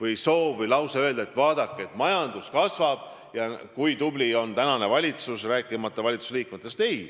Ma pole kunagi soovinud öelda, et vaadake, majandus kasvab ja kui tubli on tänane valitsus, rääkimata valitsusliikmetest.